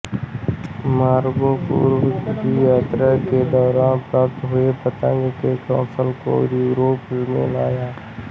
Marco पूर्व की यात्रा के दौरान प्राप्त हुए पतंग के कौशल को यूरोप में लाया